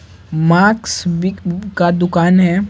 Marks भी का दुकान है।